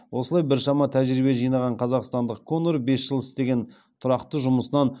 осылай біршама тәжірибе жинаған қазақстандық конор бес жыл істеген тұрақтағы жұмысынан